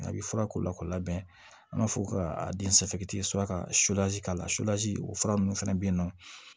A bɛ fura k'o la k'o labɛn an b'a fɔ ka sɔrɔ ka k'a la o fura ninnu fana bɛ yen nɔ